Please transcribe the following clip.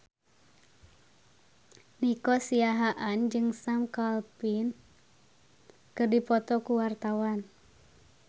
Nico Siahaan jeung Sam Claflin keur dipoto ku wartawan